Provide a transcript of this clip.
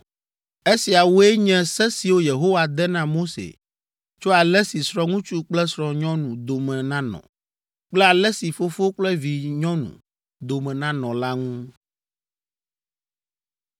Esiawoe nye se siwo Yehowa de na Mose tso ale si srɔ̃ŋutsu kple srɔ̃nyɔnu dome nanɔ kple ale si fofo kple vinyɔnu dome nanɔ la ŋu.